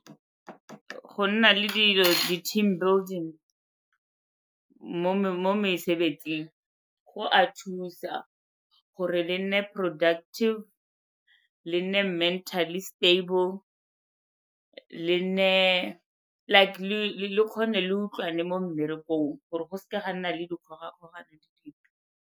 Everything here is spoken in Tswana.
Go nna le dilo di-team building mo mesebetsing go a thusa gore le nne productive, le nne mentally stable le nne like le kgone le utlwane mo mmerekong gore go seke ga nna le dikgogakgogano dipe.